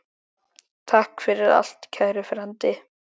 Takk fyrir allt, kæri frændi.